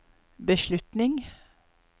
beslutning